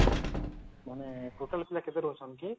ମାନେ total ପିଲା କେତେ ରହୁଛନ୍ତି କି